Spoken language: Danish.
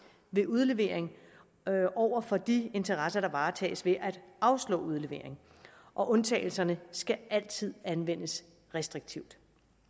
ved udlevering over for de interesser der varetages ved at afslå udlevering og undtagelserne skal altid anvendes restriktivt